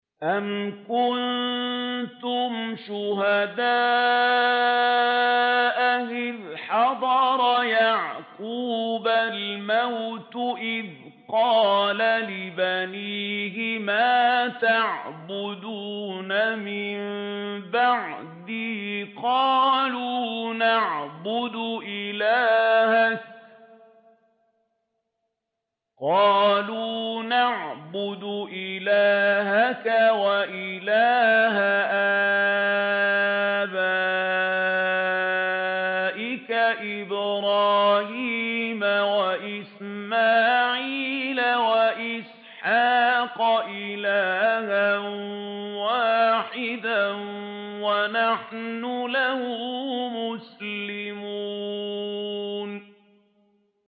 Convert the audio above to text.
أَمْ كُنتُمْ شُهَدَاءَ إِذْ حَضَرَ يَعْقُوبَ الْمَوْتُ إِذْ قَالَ لِبَنِيهِ مَا تَعْبُدُونَ مِن بَعْدِي قَالُوا نَعْبُدُ إِلَٰهَكَ وَإِلَٰهَ آبَائِكَ إِبْرَاهِيمَ وَإِسْمَاعِيلَ وَإِسْحَاقَ إِلَٰهًا وَاحِدًا وَنَحْنُ لَهُ مُسْلِمُونَ